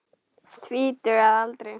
Tvítug að aldri.